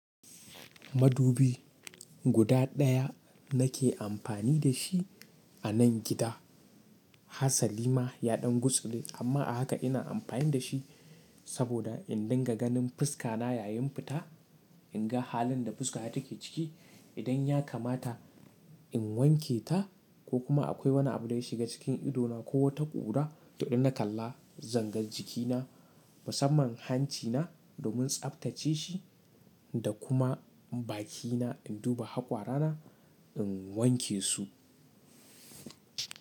Madubi guda daya nake amfani da shi a nan gida. Hasa lima ya ɗan gutsule amma a haka ina amfani da shi saboda in dinga ganin fuska na yayin fita, in ga halin da fuska ta take ciki. Idan ya kamata in wanke ta ko kuma akwai wani abu da ya shiga cikin ido na ko wata ƙura, to in na kalla zanga jiki na musamman hanci na domin tsaftace shi da kuma bakina in duba hakwara na in wanke su.